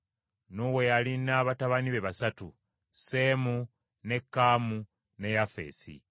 Nuuwa yalina batabani be basatu: Seemu ne Kaamu ne Yafeesi.